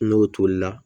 N'o tolila